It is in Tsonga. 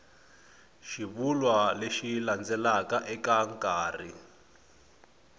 xivulwa lexi landzelaka eka nkarhi